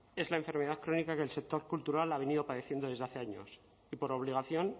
es la enfermedad crónica que el sector cultural ha venido padeciendo desde hace años y por obligación